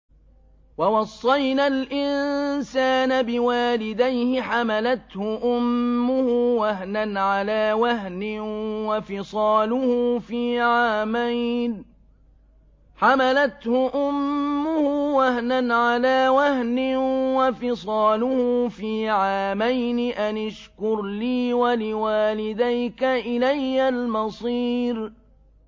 وَوَصَّيْنَا الْإِنسَانَ بِوَالِدَيْهِ حَمَلَتْهُ أُمُّهُ وَهْنًا عَلَىٰ وَهْنٍ وَفِصَالُهُ فِي عَامَيْنِ أَنِ اشْكُرْ لِي وَلِوَالِدَيْكَ إِلَيَّ الْمَصِيرُ